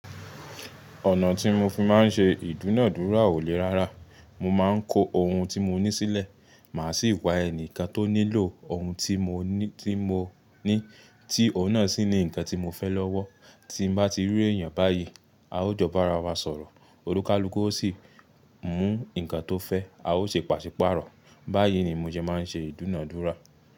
Ọ̀nà tí mo fi máa ń ṣe ìdúnàádúrà ò le rárá. Mo máa ń ko ohun tí mo ní sílẹ̀, màá sì wá ẹni kan tó nílò ohun tí mo ní, tí òun náà sì ní ǹkan tí mo fẹ́ lọ́wọ́. Tí n bá ti rí èèyàn báyìí, a ó jọ bá ara wa sọ̀rọ̀, òlúkàlúkú ó sì mú ǹkan tó fẹ́, a ó ṣe pàṣípàrọ̀. Báyìí ni mo sẹ máa ń ṣe ìdúnàádúrà.